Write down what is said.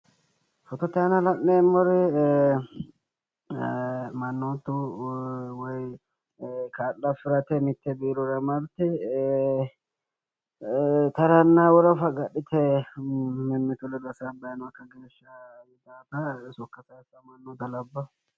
Fotote aana la'neemori mannootu woy kaa'lo afirate mitte biirora marte taranna worafa agadhite mimmitu ledo hasaabbayi noota sokka sayiissannota labbawo,